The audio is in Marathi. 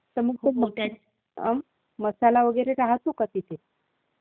उचल पण नक्की मी करते तुला दहा मिनटात कॉल, बाय.